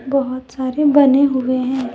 बहुत सारे बने हुए हैं।